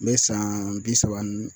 N bɛ saan bi saba n